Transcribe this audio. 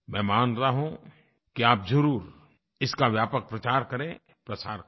मैं मान रहा हूँ कि आप ज़रुर इसका व्यापक प्रचार करें प्रसार करें